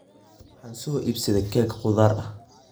Waxaan soo iibsaday keeg khudaar ah.